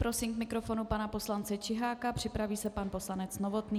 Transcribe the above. Prosím k mikrofonu pana poslance Čiháka, připraví se pan poslanec Novotný.